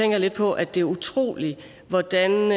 jeg lidt på at det er utroligt hvordan